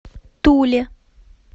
туле